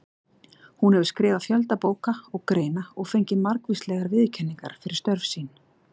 Hún hefur skrifað fjölda bóka og greina og fengið margvíslegar viðurkenningar fyrir störf sín.